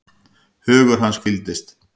Hugur hans hvíldist.